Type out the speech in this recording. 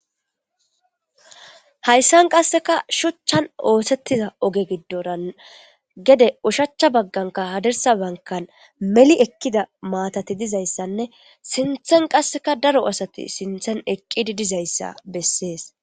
Hayssan qasseka shuchchan oosettiza oge giddora gede ushacha bagganka hadersa bankan meli ekkida maatati dizayssanne sinthen qasseka daro asati sinthen eqqidi dizayssa bessees.